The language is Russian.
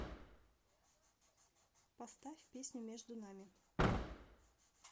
поставь песню между нами